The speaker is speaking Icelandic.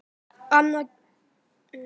Annars geta þeir kvatt strax.